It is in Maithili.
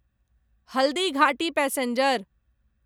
हल्दीघाटी पैसेंजर